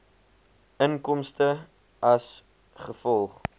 inkomste as gevolg